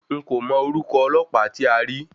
N kò mọ orúkọ ọlọ́pàá tí a rí.